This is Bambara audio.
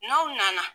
N'aw nana